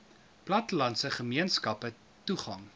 plattelandse gemeenskappe toegang